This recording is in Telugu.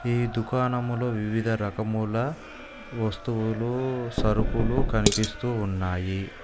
ఈ దుకాణంలో వివిధ రకముల వస్తువులు సరుకులు కనిపిస్తూ ఉన్నాయి.